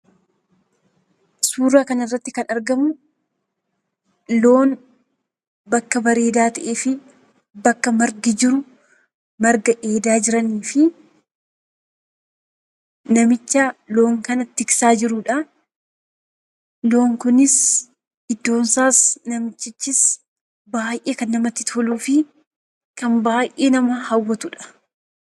Suuraa kana irratti kan argamu, loon bakka bareedaa ta'ee fi bakka margi jiru, marga dheedaa jiranii fi namicha loon kana tiksaa jirudha. Loon kunis, iddoon isaas, namichichis baayyee kan namatti toluu fi kan baayyee nama hawwatudha.